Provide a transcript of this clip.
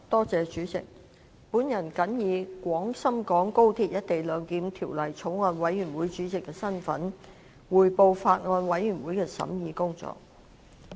主席，我謹以《廣深港高鐵條例草案》委員會主席的身份，匯報法案委員會的審議工作。